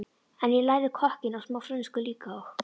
En ég lærði kokkinn og smá frönsku líka og